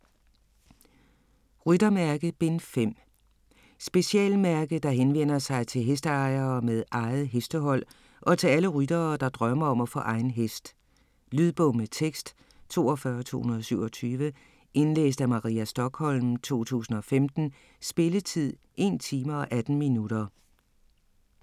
Ryttermærke: Bind 5 Specialmærke, der henvender sig til hesteejere med eget hestehold og til alle ryttere, der drømmer om at få egen hest. Lydbog med tekst 42227 Indlæst af Maria Stokholm, 2015. Spilletid: 1 time, 18 minutter.